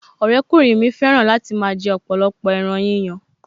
Ọ̀rẹ́kùnrin mi fẹ́ràn láti máa jẹ ọ̀pọ̀lọpọ̀ ẹran yíyan